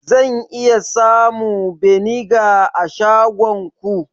Zan samu beniga a shagonku?